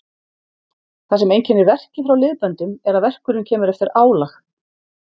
Það sem einkennir verki frá liðböndum er að verkurinn kemur eftir álag.